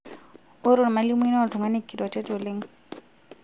ore olmalimui naa oltung'ani kiroret oleng'